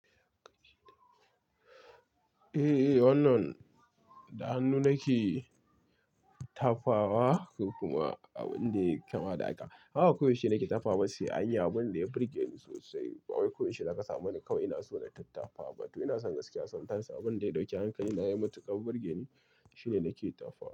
Eh, wannan da hannu nake tafawa kokuma abin da ya kama da haka. Haka koyaushe nake tafawa, sai anyi abin da ya burge ni sosai. Wai ba koyaushe zaka samu wani kawai ina so na rika tatawa bane. To ina son gaskiya sometime abin da ya ɗauki hankali na ya mutu kan burge ni shine nake tafawa.